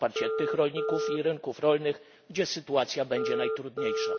na wsparcie tych rolników i rynków rolnych, gdzie sytuacja będzie najtrudniejsza.